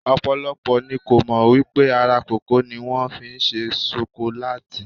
Ọ̀pọ̀lọpọ̀ ni kò mọ̀ wípé ara kòkó ni wón fi ṣe ṣokolátì.